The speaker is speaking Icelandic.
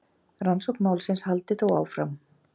Rannsókn málsins haldi þó áfram.